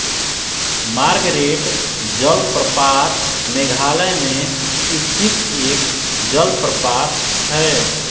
Margaret जलप्रपात मेघालय में स्थित एक जलप्रपात है